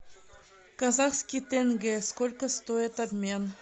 казахский тенге сколько стоит обмен